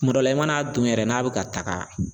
Kuma dɔ la i mana don yɛrɛ n'a bɛ ka taaga.